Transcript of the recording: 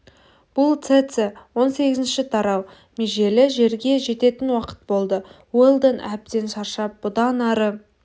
бұл цеце он сегізінші тарау межелі жерге жететін уақыт болды уэлдон әбден шаршап бұдан ары